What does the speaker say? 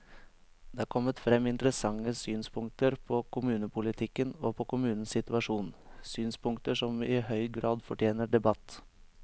Det er kommet frem interessante synspunkter på kommunepolitikken og på kommunenes situasjon, synspunkter som i høy grad fortjener debatt.